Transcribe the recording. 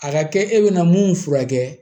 A ka kɛ e bɛna mun furakɛ